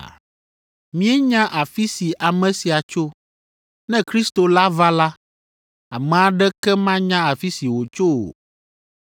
Míenya afi si ame sia tso. Ne Kristo la va la, ame aɖeke manya afi si wòtso o.”